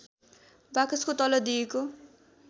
बाकसको तल दिएको